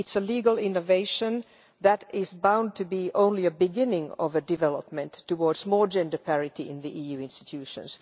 it is a legal innovation that is bound to be only the beginning of a development towards more gender parity in the EU institutions.